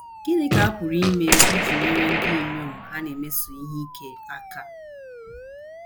GỊNỊ ka a pụrụ ime iji nyere ndị inyom a na - emeso ihe ike aka?